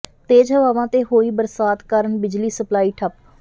ਤੇਜ਼ ਹਵਾਵਾਂ ਤੇ ਹੋਈ ਬਰਸਾਤ ਕਾਰਨ ਬਿਜਲੀ ਸਪਲਾਈ ਠੱਪ